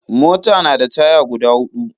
Mota na da taya guda huɗu